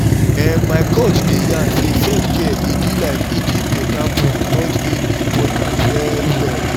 ehn my coach dey yarn say self-care e be like eating beta food both dey important well well!